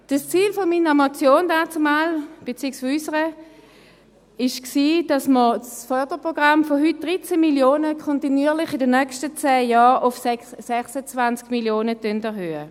Das Ziel meiner beziehungsweise unserer Motion damals bestand darin, das Förderprogramm von heute 13 Mio. Franken in den nächsten zehn Jahren kontinuierlich auf 26 Mio. Franken zu erhöhen.